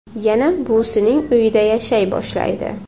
Yana buvisining uyida yashay boshlaydi.